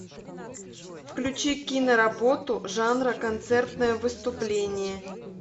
включи киноработу жанра концертное выступление